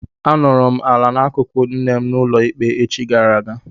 A nọrọ m ala n'akụkụ nne m n'ụlọ ikpe echi gara aga.